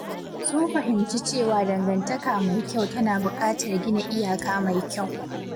Sun fahimci cewa dangantaka mai kyau tana buƙatar gina iyaka mai kyau.